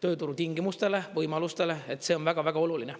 tööturu tingimustele, võimalustele – see on väga-väga oluline.